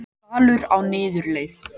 Dalur á niðurleið